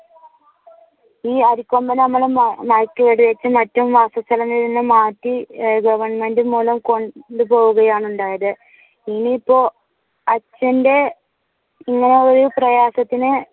ഈ അരിക്കൊമ്പൻ അമ്മ മാറ്റി ഗവെർന്മെന്റ് മൂലം കൊണ്ടുപോവുകയാണ് ഉണ്ടായത്. ഇനി ഇപ്പോ അച്ഛന്റെ ഇങ്ങനെയൊരു പ്രയാസത്തിനു